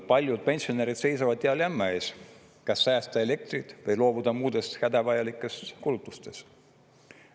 Paljud pensionärid seisavad dilemma ees, kas säästa elektrit või loobuda muudest hädavajalikest kulutustest.